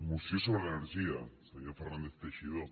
moció sobre energia senyor fernàndez teixidó